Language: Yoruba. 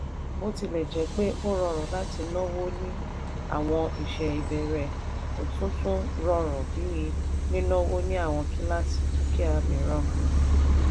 bótilẹ̀jẹ́pẹ́ ó rọrùn láti náwó ní àwọn iṣẹ́ ìbẹ̀rẹ̀ kò tún tún rọrùn bí nínáwó ní àwọn kíláàsì dúkìá mìíràn.